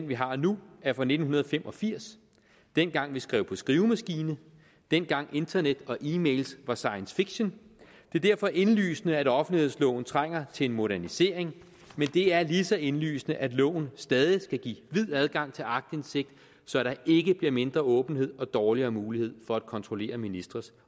vi har nu er fra nitten fem og firs dengang vi skrev på skrivemaskine dengang internet og e mails var science fiction det er derfor indlysende at offentlighedsloven trænger til en modernisering men det er lige så indlysende at loven stadig skal give vid adgang til aktindsigt så der ikke bliver mindre åbenhed og dårligere mulighed for at kontrollere ministres